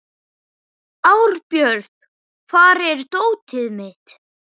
Árbjört, hvar er dótið mitt?